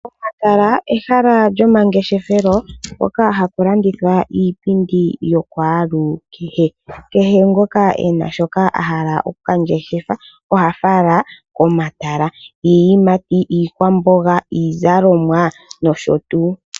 Omatala ehala lyomangeshefelo mpoka hapu landithwa iipindi yakwalukehe. Kehe ngoka e na shoka a hala oku ka ngeshefa oha fala komatala. Iiyimati, iikwamboga, iizalomwa nosho tuu.